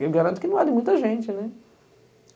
Eu garanto que não é de muita gente, né?